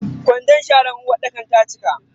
Ƙwandon sharan uwarɗakar ta ya cika.